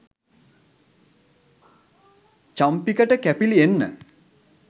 චම්පිකට කැපිලි එන්න